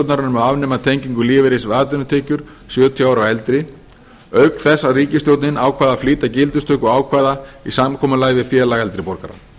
um að afnema tengingu lífeyris við atvinnutekjur sjötíu ára og eldri auk þess að ríkisstjórnin ákvað að flýta gildistöku ákvæða í samkomulagi við félag eldri borgara